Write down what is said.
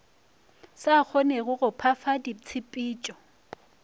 sa kgonege go phefa ditshepetšo